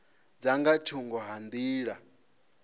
dza nga thungo ha nḓila